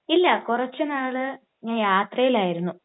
ഇല്ല കുറച്ച് നാള് ഞാൻ യാത്രയിലായിരുന്നു.